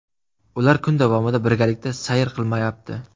Ular kun davomida birgalikda sayr qilmayapti.